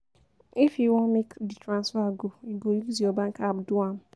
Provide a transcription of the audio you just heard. If you wan make di transfer go, you go use your bank app do am.